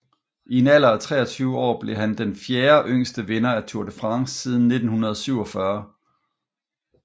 I en alder af 23 år blev han den fjerde yngste vinder af Tour de France siden 1947